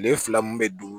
Tile fila mun bɛ don